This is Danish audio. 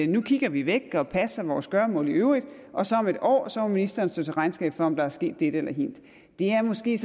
nu kigger vi væk og passer vores gøremål i øvrigt og så om et år må ministeren stå til regnskab for om der er sket dette eller hint det er måske